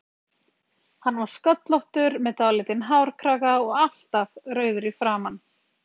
Hann var sköllóttur með dálítinn hárkraga og alltaf rauður í framan.